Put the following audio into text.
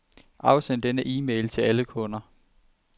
Afsend denne e-mail til alle kunder.